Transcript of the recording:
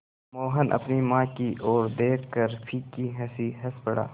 मोहन अपनी माँ की ओर देखकर फीकी हँसी हँस पड़ा